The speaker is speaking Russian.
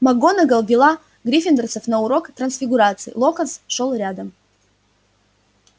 макгонагалл вела гриффиндорцев на урок трансфигурации локонс шёл рядом